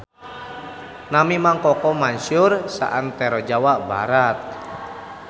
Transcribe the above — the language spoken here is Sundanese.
Nami Mang Koko masyhur saantero Jawa Barat